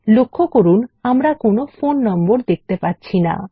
লক্ষ্য করুন আমরা কোনো ফোন নম্বর দেখতে পাচ্ছি না